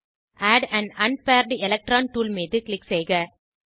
add on unbird electron tool மீது click செய்க